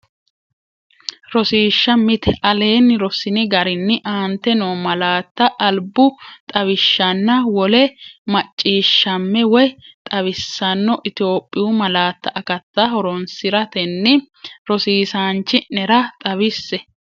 Rosiishsha Mite Aleenni Rossini garinni aante noo malaatta albu xawishshanna wole mac- ciishshamme woy xawissanno Itophiyu malaatu akatta horoonsi’ratenni rosiisaanchi’nera xawisse.